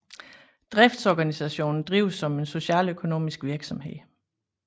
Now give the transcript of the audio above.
Driftsorganisationen drives som en socialøkonomisk virksomhed